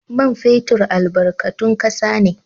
Man fetur albarkatun kasa ne.